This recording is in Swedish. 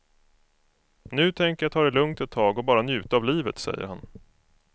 Nu tänker jag ta det lugnt ett tag och bara njuta av livet, säger han.